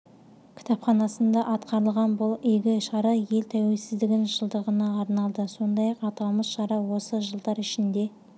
кітапханасында атқарылған бұл игі шара ел тәуелсіздігінің жылдығына арналды сондай-ақ аталмыш шара осы жылдар ішінде